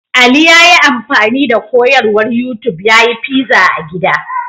Ali ya yi amfani da koyarwar YouTub ya yi fiza a gida.